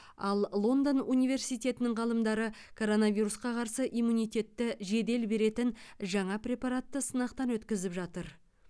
ал лондон университетінің ғалымдары коронавирусқа қарсы иммунитетті жедел беретін жаңа препаратты сынақтан өткізіп жатыр